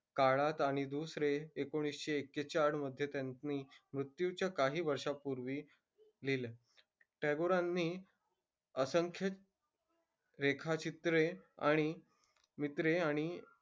काळात आणि दुसरे एकोणीसशे एक्केचाळ मध्ये त्यांनी मृत्यूच्या काही वर्षांपूर्वी लिहिले. टागोरांनी असंख्य रेखाचित्रे आणि मित्रे आणि,